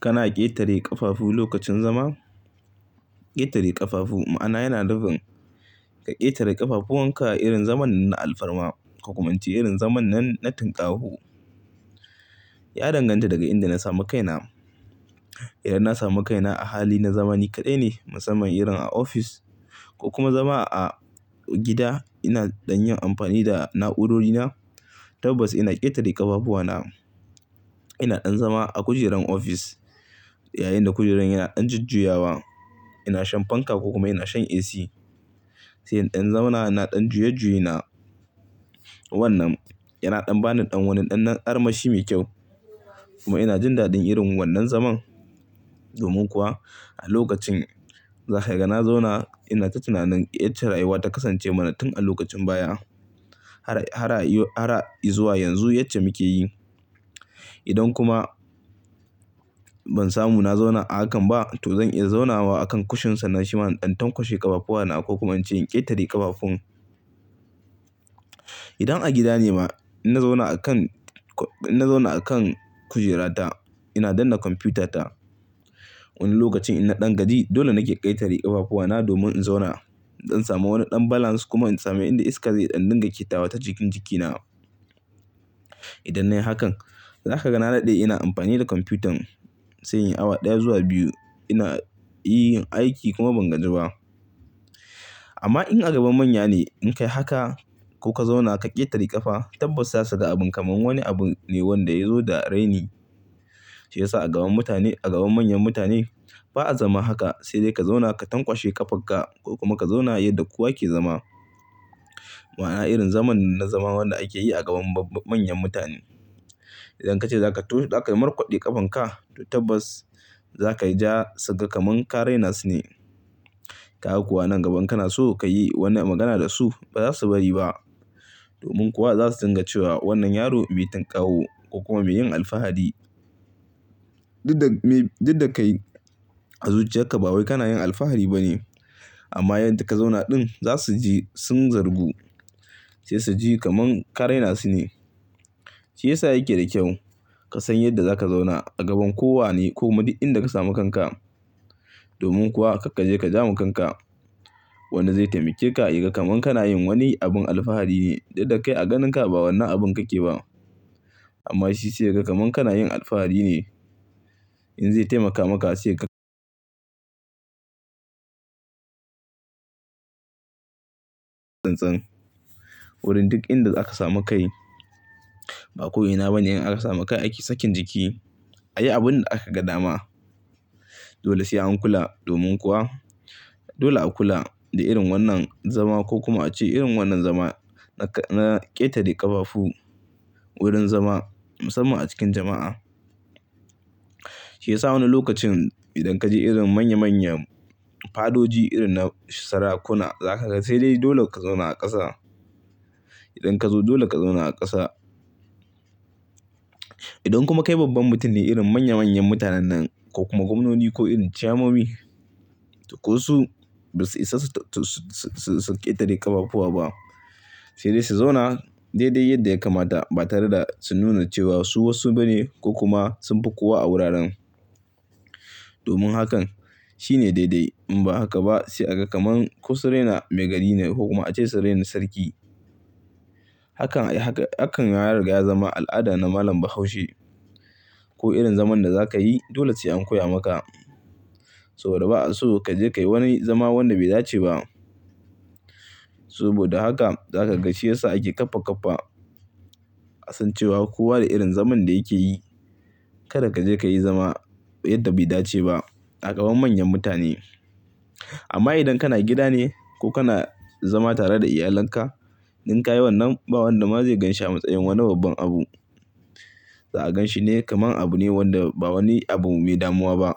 Kana ƙetare ƙafafu lokacin zama? Ƙetare ƙafafu ma'ana yana nufin ka ƙetare ƙafafuwanka irin zaman na alfarma ko kuma in ce irin zaman na tun ƙaho. Ya danganta daga inda na samu kaina. Idan na samu kaina a hali na zamani kaɗai ne musamman irin a ofis ko kuma zama a gida ina ɗan yin amfani da na'urorina tabbas ina ƙetare ƙafafuwana. Ina ɗan zama a kujerar ofis yayinda kujerar yana ɗan jujjuyawa. Ina shan fanka ko kuma ina shan AC. Sai in ɗan zauna ina ɗan juye-juye na. Wannan yana ɗan bani ɗan wani ɗan armashi mai kyau. Kuma ina jin daɗin irin wannan zaman. Domin kuwa a lokacin zaka ga na zauna ina ta tunanin yace rayuwa ta kasance mana tun a lokacin baya har a zuwa yanzu yace muke yi. Idan kuma ban samu na zauna a hakan ba to zan iya zauna wa akan kushin sannan shi man ɗan tankwashe ƙafafuwana ko kuma in ƙetare ƙafafun. Idan a gida ne ma ina zauna akan kujerata ina danna kwamfuyutata. Wani lokacin ina ɗan gaji. Dole nake ƙetare ƙafafuwana domin in zauna zan samu wani ɗan balance kuma in samu inda iska zai ɗan dinga ƙetawa ta jikin jikina. Idan nayi hakan zaka ga na daɗe ina amfani da kwamfuyuta sai in yi awa ɗaya zuwa biyu ina yin aiki kuma ban gaji ba. Amma in a gaban manya ne in kayi haka ko ka zauna ka ƙetare ƙafa tabbas zasu ga abin kamar wani abu ne wanda yazo da raini. Shiyasa a gaban manyan mutane ba'a zama haka. Sai dai ka zauna ka tankwashe ƙafanka ko kuma ka zauna yadda kowa yake zama. Ma'ana irin zaman na zama wanda ake yi a gaban manyan mutane. Idan kace zakai markwade ƙafanka to tabbas zakayi ja su ga kamar ka raina su ne. Kaga ko a nan gaba kana so kayi wannan magana da su ba za su bari ba. Domin kuwa za su dinga cewa wannan yaro bai tun ƙaho ko kuma mai yin alfahari. Duk da kai a zuciyarka ba wai kana yin alfahari ba ne. Amma yadda ka zauna ɗin za su ji sun zargu sai su ji kamar ka raina su ne. Shiyasa yake da kyau ka san yadda za ka zauna a gaban kowane ko ma duk in da ka samu kanka. Domin kuwa kar kaje ka ja mu kanka. Wannan zai taimake ka ya ga kaman kana yin wani abin alfahari ne duk da kai a ganinka ba wannan abun kake ba. Amma shi sai ya ga kamar kana yin alfahari ne. In zai taimaka maka sai ka-- ɗan can wurin duk inda aka samu kai. Ba ko'ina ba ne in aka samu kai ake sakin jiki ayi abunda aka gadama. Dole sai an kula domin kuwa dole a kula da irin wannan zama ko kuma a ce irin wannan zama na ƙetare ƙafafu wurin zama musamman a cikin jama'a. Shiyasa wani lokacin idan kaje irin manya manyan padoji irin na sarakuna zakaga sai dai dole ka zauna a ƙasa. Idan ka zo dole ka zauna a ƙasa. Idan kuma kai babban mutum ne irin manya manyan mutanen nan ko kuma gwamnoni ko irin chamommi to ko su basu isa su ƙetare ƙafafuwa ba. Sai dai su zauna daidai yadda ya kamata ba tare da su nuna cewa su wasu bane ko kuma sunfi kowa a wuraren. Domin hakan shine daidai. In ba haka ba sai a ga kamar ko su raina maigari ne ko kuma a ce su raina sarki. Hakan ya riga ya zama al'ada na malam Bahaushe. Ko irin zaman da zakayi dole sai an koya maka. Saboda ba'a so kaje kayi wani zama wanda bai dace ba. Saboda haka zaka ga shi yasa ake ƙafa ƙafa. A san cewa kowa da irin zaman da yake yi. Kada kaje kayi zama yadda bai dace ba a gaban manyan mutane. Amma idan kana gida ne ko kana zama tare da iyalanka in kayi wannan ba wanda ma zai ganshi a matsayin wani babban abu. Za'a ganshi ne kaman abu ne wanda ba wani abu mai damuwa ba.